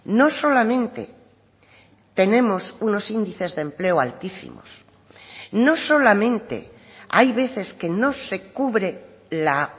no solamente tenemos unos índices de empleo altísimos no solamente hay veces que no se cubre la